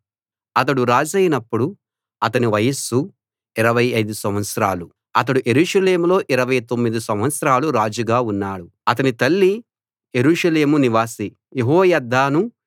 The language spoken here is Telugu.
అతడు రాజైనప్పుడు అతని వయస్సు 25 సంవత్సరాలు అతడు యెరూషలేములో 29 సంవత్సరాలు రాజుగా ఉన్నాడు అతని తల్లి యెరూషలేము నివాసి యెహోయద్దాను